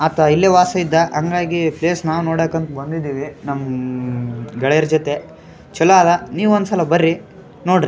ಅಪ್ಪ ಇಲ್ಲಿ ವಾಸವಿದ್ದ ಹಂಗಾಗಿ ಪ್ಲೇಸ್ ನಾವ್ ನೋಡಾಕ್ ಅಂತ ಬಂದಿದೀವಿ ನಮ್ಮ್ ಗೆಳೆಯರ ಜೊತೆ ಚಲೋ ಆದ ನೀವು ಒಂದ್ಸಲ ಬರ್ರಿ ನೋಡ್ರಿ.